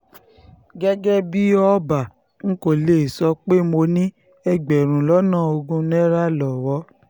um gẹ́gẹ́ bíi ọba n kò lè sọ um pé mo ní ẹgbẹ̀rún lọ́nà ogún náírà lọ́wọ́